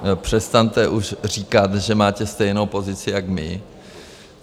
Přestaňte už říkat, že máte stejnou pozici jak my.